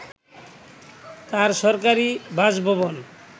তাঁর সরকারি বাসভবন